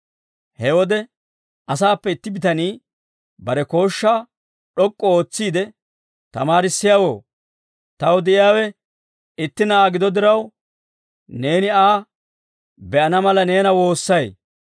He wode asaappe itti bitanii bare kooshshaa d'ok'k'u ootsiide, «Tamaarissiyaawoo, taw de'iyaawe itti na'aa gido diraw, neeni Aa be'ana mala neena woossay;